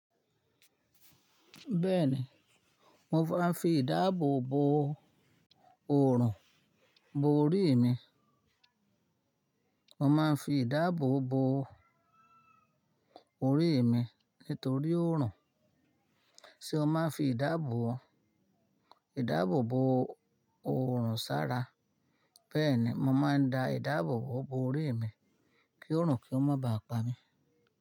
Bẹ́ẹ̀ni, mo máa ń fi ìdábò bo òrùn bo orí mi. Mo máa ń fi ìdábò bo orí mi nítorí òrùn. Ṣé o máa ń fi ìdábò, ìdábò bo òrùn sára? Bẹ́ẹ̀ni, mo máa ń da ìdábò bo orí mi kí òrùn kí ó má ba à pa mí.